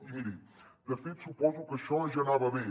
i miri de fet suposo que això ja anava bé